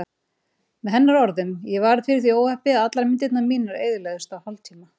Með hennar orðum: Ég varð fyrir því óhappi að allar myndirnar mínar eyðilögðust á hálftíma.